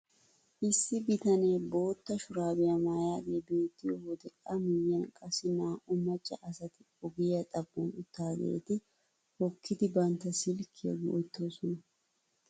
Issi bitanee bootta shuraabiyaa maayidagee bettiyoo wode a miyiyaan qassi naa"u macca asati ogiyaa xaphon uttidageeti hokkidi bantta silkkiyaa go"ettoosona.